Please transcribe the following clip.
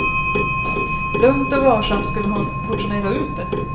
Lugnt och varsamt skulle hon portionera ut det.